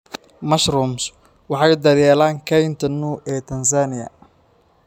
Mushrooms waxay daryeelaan kaynta Nou ee Tansaaniya